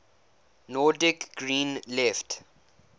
nordic green left